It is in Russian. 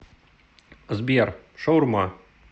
сбер шаурма